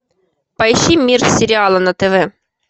поищи мир сериала на тв